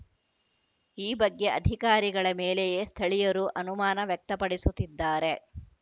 ಈ ಬಗ್ಗೆ ಅಧಿಕಾರಿಗಳ ಮೇಲೆಯೇ ಸ್ಥಳೀಯರು ಅನುಮಾನ ವ್ಯಕ್ತಪಡಿಸುತ್ತಿದ್ದಾರೆ